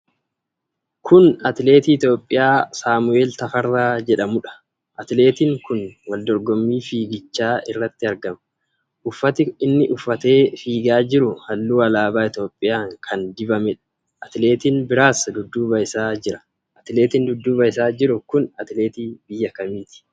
Kun atileetii Itoophiyaa Saamu'eel Tafarraa jedhamuudha. Atileetiin kun wal dorgommii fiigichaa irratti argama. Uffati inni uffatee fiigaa jiru halluu alaabaa Itoophiyaa kan dibameedha. Atileetiin biraas dudduuba isaa jira. Atileetiin dudduuba isaa jiru kun atileetii biyya kamiiti?